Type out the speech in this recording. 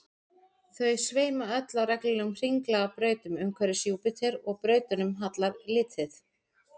þau sveima öll á reglulegum hringlaga brautum umhverfis júpíter og brautunum hallar lítið